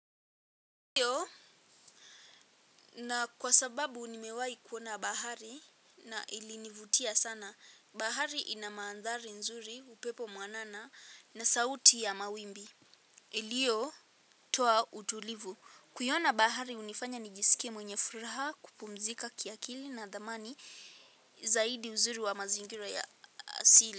Hio na kwa sababu nimewahi kuona bahari na ilinivutia sana. Bahari ina mandhari nzuri, upepo mwanana na sauti ya mawimbi. Iliyo toa utulivu. Kuiona bahari hunifanya nijisike mwenye furaha kupumzika kiakili na natamani zaidi uzuri wa mazingira ya asili.